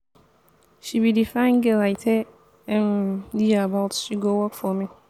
she be the fine girl i tell um you about she go work for me